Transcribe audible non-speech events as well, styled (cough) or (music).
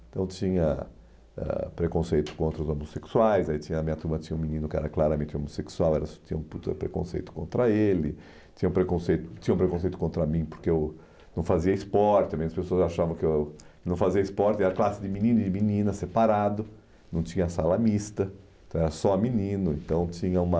Então tinha ãh preconceito contra os homossexuais, aí a minha turma tinha um menino que era claramente homossexual, (unintelligible) tinha preconceito contra ele, tinha preconcei tinha preconceito contra mim porque eu não fazia esporte né, as pessoas achavam que eu não fazia esporte, era classe de menino e de menina, separado, não tinha sala mista, então era só menino, então tinha uma...